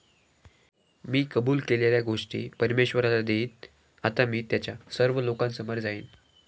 मी कबूल केलेल्या गोष्टी परमेश्वराला देईन. आता मी त्याच्या सर्व लोकांसमोर जाईन.